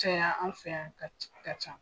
Caya an fɛ yan